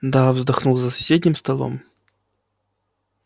да вздохнул за соседним столом